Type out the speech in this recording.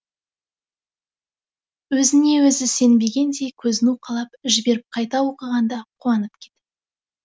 өзіне өзі сенбегендей көзін уқалап жіберіп қайта оқығанда қуанып кетіпті